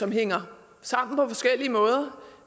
mener